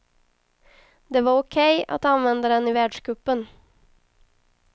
Det var okej att använda den i världscupen.